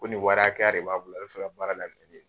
Ko ni wɔri hakɛya de b'a bolo, a be fɛ ka baara daminɛ len .